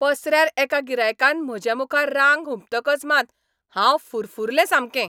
पसऱ्यार एका गिरायकान म्हजेमुखार रांग हुपतकच मात हांव फुरफुरलें सामकें.